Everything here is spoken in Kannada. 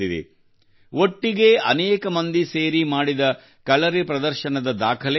ಒಟ್ಟಿಗೆ ಅನೇಕ ಮಂದಿ ಸೇರಿ ಮಾಡಿದ ಕಲರಿ ಪ್ರದರ್ಶನದ ದಾಖಲೆ ಇದಾಗಿದೆ